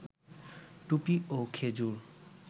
টুপি, ও খেজুর